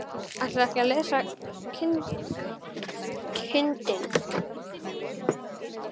Ætlarðu ekki að lesa kindin?